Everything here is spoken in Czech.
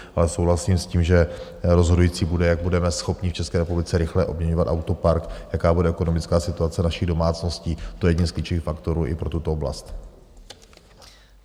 Ale souhlasím s tím, že rozhodující bude, jak budeme schopni v České republice rychle obměňovat autopark, jaká bude ekonomická situace našich domácností, to je jeden z klíčových faktorů i pro tuto oblast.